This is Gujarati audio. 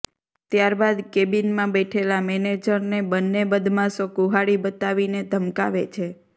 ત્યારબાદ કેબિનમાં બેઠેલા મેનેજરને બંને બદમાશો કુહાડી બતાવીને ધમકાવે છે